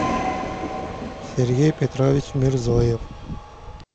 сергей петрович мерзоев